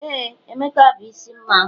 ee, emeka bu isi mmanwu